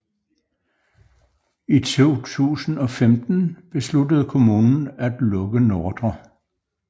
I 2015 besluttede kommunen at lukke Ndr